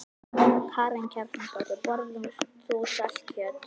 Karen Kjartansdóttir: Borðar þú saltkjöt?